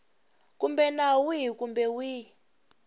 kumbe nawu wihi kumbe wihi